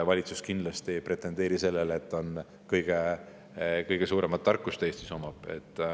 Valitsus kindlasti ei pretendeeri sellele, et ta omab Eestis kõige suuremat tarkust.